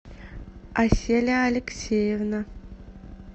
аселя алексеевна